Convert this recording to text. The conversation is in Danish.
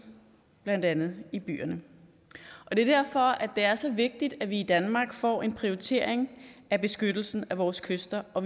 blandt andet i byerne det er derfor at det er så vigtigt at vi i danmark får en prioritering af beskyttelsen af vores kyster og